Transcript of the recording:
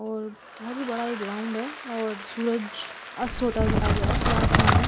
और बहुत ही बड़ा यह ग्राउंड है और सूरज अस्त होता दिखाई दे रहा है। खुला आसमान है।